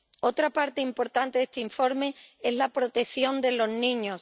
Otra parte importante de este informe es la protección de los niños.